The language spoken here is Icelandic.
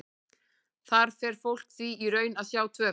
Þar fer fólk því í raun að sjá tvöfalt.